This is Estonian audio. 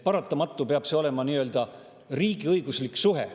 Paratamatult peab see olema nii-öelda riigiõiguslik suhe.